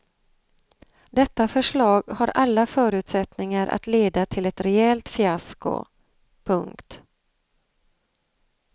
Detta förslag har alla förutsättningar att leda till ett rejält fiasko. punkt